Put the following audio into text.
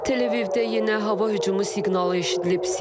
Tele-Avivdə yenə hava hücumu siqnalı eşidilib.